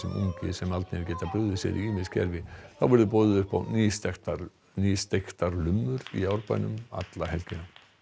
ungir sem aldnir geta brugðið sér í ýmis gervi þá verður boðið upp á nýsteiktar lummur í Árbænum alla helgina